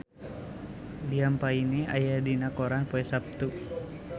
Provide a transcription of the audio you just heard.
Liam Payne aya dina koran poe Saptu